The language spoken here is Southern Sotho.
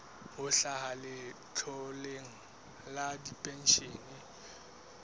ho hlaha letloleng la dipenshene